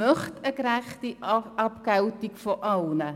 Ich möchte eine gerechte Abgeltung aller Leistungen.